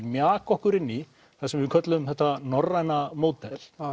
mjaka okkur inn það sem við köllum þetta Norræna módel